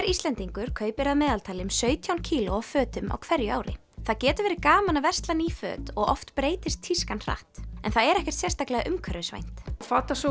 Íslendingur kaupir að meðaltali um sautján kíló af fötum á hverju ári það getur verið gaman að versla ný föt og oft breytist tískan hratt en það er ekkert sérstaklega umhverfisvænt